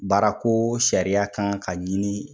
Baara ko sariya kan ka ɲini